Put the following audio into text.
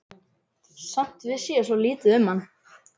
Samt vissi ég svo lítið um hann.